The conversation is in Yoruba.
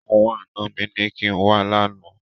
Àwọn àna mi ní kín wá lánàá.